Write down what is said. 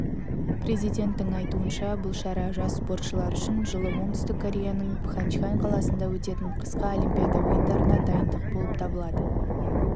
президенттің айтуынша бұл шара жас спортшылар үшін жылы оңтүстік кореяның пхнчхан қаласында өтетін қысқы олимпиада ойындарына дайындық болып табылады